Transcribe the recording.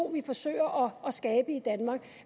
vi forsøger at skabe i danmark